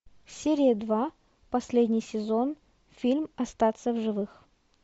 серия два последний сезон фильм остаться в живых